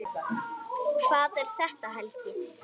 Hvað er þetta, Helgi?